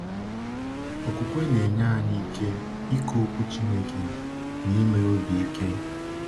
Okwukwe na-enye anyị ike ịkọ Okwu Chineke n’ime obi ike.